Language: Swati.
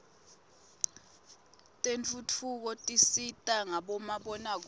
tentfutfuko tisita ngabomabonakudze